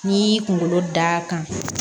N'i y'i kunkolo da kan